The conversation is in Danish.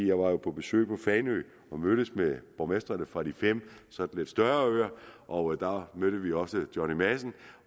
jeg var på besøg på fanø og mødtes med borgmestrene fra de fem lidt større øer og der mødte vi også johnny madsen